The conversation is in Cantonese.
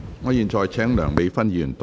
我現在請梁美芬議員動議修正案。